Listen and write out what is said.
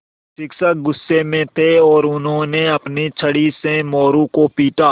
शिक्षक गुस्से में थे और उन्होंने अपनी छड़ी से मोरू को पीटा